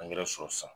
sɔrɔ sisan